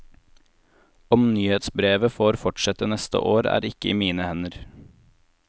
Om nyhetsbrevet får fortsette neste år er ikke i mine hender.